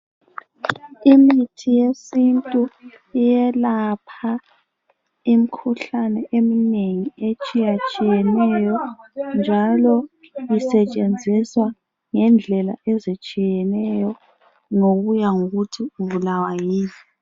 Imithi yesintu iyelapha imkhuhlane eminengi etshiyatshiyeneyo njalo isetshenziswe ngendlela ezitshiyeneyo ngokuya ngokuthi ubulawa yini.